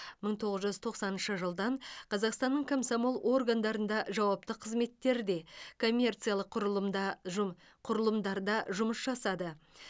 мың тоғыз жүз тоқсаныншы жылдан қазақстанның комсомол органдарында жауапты қызметтерде коммерциялық құрылымда жұм құрылымдарда жұмыс жасады